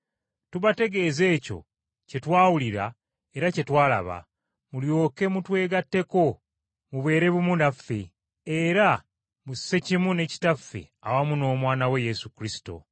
Tubategeeza ekyo kye twawulira era kye twalaba, mulyoke mutwegatteko, mubeere bumu naffe, era mussekimu ne Kitaffe awamu n’Omwana we Yesu Kristo.